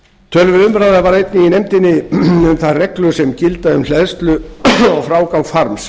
töluverð umræða varð einnig í nefndinni um þær reglur sem gilda um hleðslu og frágang farms